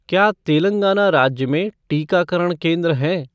क्या तेलंगाना राज्य में टीकाकरण केंद्र हैं?